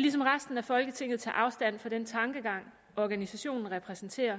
lige som resten af folketinget tage afstand fra den tankegang organisationen repræsenterer